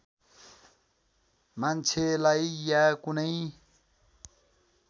मान्छेलाई या कुनै